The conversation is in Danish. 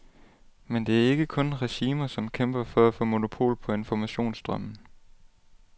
Men det er ikke kun regimer, som kæmper for at få monopol på informationsstrømmen.